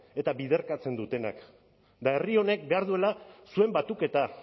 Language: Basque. eta biderkatzen dutenak eta herri honek behar duela zuen batuketa